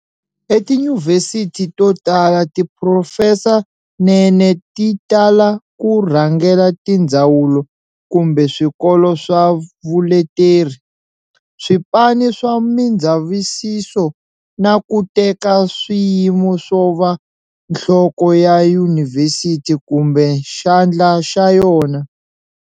E tiyunivhesithi to tala tiphurofesanene ti tala ku rhangela tindzawulo kumbe swikolo swa vuleteri, swipani swa mindzavisiso na ku teka swiyimo swova nhloko ya yunivhesit kumbe xandla xa yona.